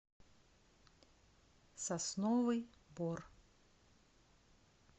сосновый бор